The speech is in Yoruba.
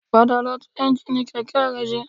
Padà lọ tún ẹ́ńjíìnì kẹ̀kẹ́ rẹ ṣe